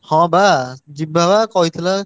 ହଁ ବା ଯିବା ବା କହିଥିଲା।